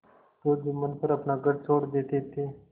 तो जुम्मन पर अपना घर छोड़ देते थे